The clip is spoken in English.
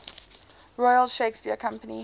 royal shakespeare company